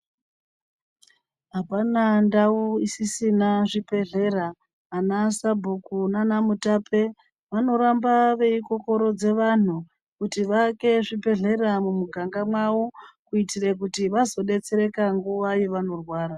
Apana ndau isisina zvibhedhlera, ana sabhuku nana mutape vanoramba veikokorodze vanthu kuti vaake zvibhedhlera mumiganga mwawo kuitira kuti vazodetsereka nguwa yevanorwara.